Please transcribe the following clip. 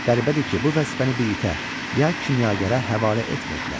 Qəribədir ki, bu vəzifəni bir itə, ya kimyagərə həvalə etmirdilər.